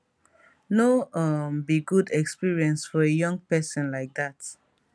no um be good experience for a young pesin like dat